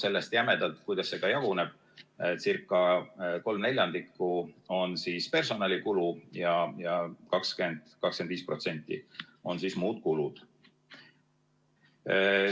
Sellest jämedalt ca kolm neljandikku on personalikulu ja 20–25% on muud kulud.